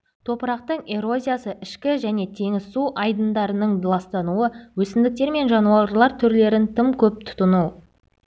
топырақтың эрозиясы ішкі және теңіз су айдындарының ластануы өсімдіктер мен жануарлар түрлерін тым көп тұтыну